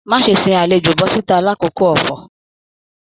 Má ṣe sìn àlejò bọ̀sìta l'akoko ọfọ̀!